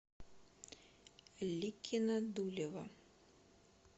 ликино дулево